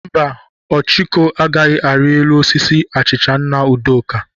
Mba, Ọchụko agaghị ari elu osisi achicha nna Udoka?